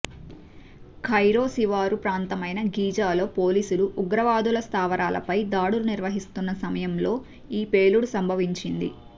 Cairo శివారు ప్రాంతమైనా గీజాలో పోలీసులు ఉగ్రవాదుల స్థావరాలపై దాడులు నిర్వహిస్తున్న సమయంలో ఈ పేలుడు సంభవించింది